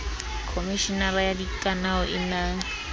khomeshenara ya dikanao e na